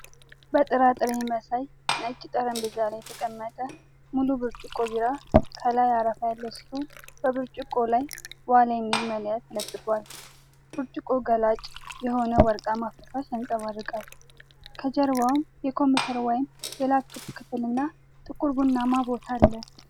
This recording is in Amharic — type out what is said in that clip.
በጥራጥሬ መሳይ ነጭ ጠረጴዛ ላይ የተቀመጠ ሙሉ ብርጭቆ ቢራ፣ ከላይ አረፋ ያለው ሲሆን በብርጭቆው ላይ "ዋሊያ" የሚል መለያ ተለጥፏል። ብርጭቆው ገላጭ የሆነውን ወርቃማ ፈሳሽ ያንጸባርቃል። ከጀርባው የኮምፒውተር ወይም የላፕቶፕ ክፍልና ጥቁር ቡናማ ቦታ አለ።